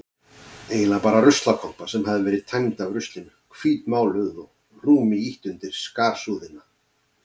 Eiginlega bara ruslakompa sem hafði verið tæmd af ruslinu, hvítmáluð og rúmi ýtt undir skarsúðina.